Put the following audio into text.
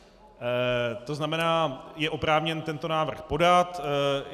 To znamená, je oprávněn tento návrh podat.